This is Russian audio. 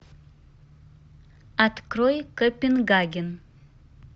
открой копенгаген